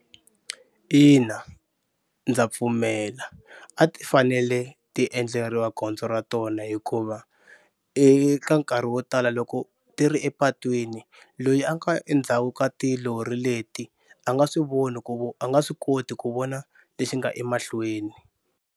Ina ndza pfumela a ti fanele ti endleriwa gondzo ra tona hikuva eka nkarhi wo tala loko ti ri epatwini loyi a nga endzhaku ka tilori leti a nga swi voni ku a nga swi koti ku vona lexi nga emahlweni.